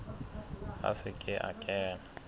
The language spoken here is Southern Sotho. a se ke a kena